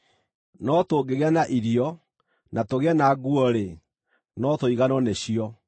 No tũngĩgĩa na irio, na tũgĩe na nguo-rĩ, no tũiganwo nĩcio.